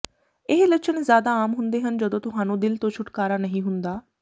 ਇਹ ਲੱਛਣ ਜ਼ਿਆਦਾ ਆਮ ਹੁੰਦੇ ਹਨ ਜਦੋਂ ਤੁਹਾਨੂੰ ਦਿਲ ਤੋਂ ਛੁਟਕਾਰਾ ਨਹੀਂ ਹੁੰਦਾ